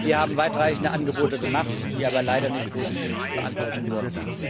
Wir haben weitreichende Angebote gemacht, die aber leider nicht positiv beantwortet wurden.